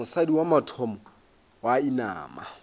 mosadi wa mathomo wa inama